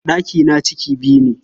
Ɗakina ciki biyu ne.